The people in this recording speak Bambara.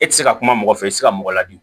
E ti se ka kuma mɔgɔ fɛ i ti se ka mɔgɔ ladi